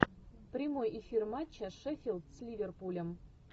прямой эфир матча шеффилд с ливерпулем